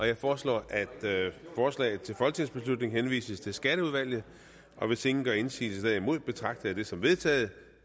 jeg foreslår at forslaget til folketingsbeslutning henvises til skatteudvalget og hvis ingen gør indsigelse derimod betragter jeg det som vedtaget